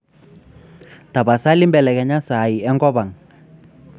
tapasali belekenya saai enkop ang